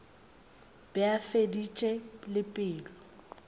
be a feditše le pelo